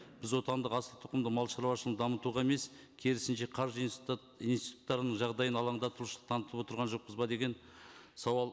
біз отандық асылтұқымды малшаруашылығын дамытуға емес керісінше қаржы институттарының жағдайын алаңдатушылық танытып отырған жоқпыз ба деген сауал